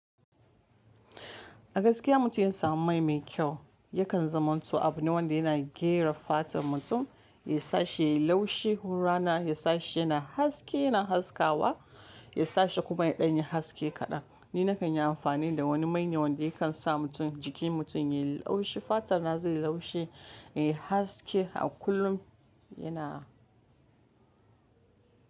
A gaskiya mutum ya samu mai mai kyau, yakan zaman to abu ne wanda yana gyara fatar mutum, ya sa shi ya yi laushi hurrana, ya sa shi yana haske yana haskawa, ya sa shi kuma ya ɗan yi haske kaɗan. Ni na kan yi amfani da wani mai ne wanda yakan sa mutum jikin mutum ya yi laushi, fatar na zai yi laushi, ya yi haske a kullum yana.